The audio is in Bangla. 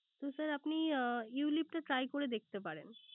তো স্যার আপনি ulip টা Try করে দেখতে পারেন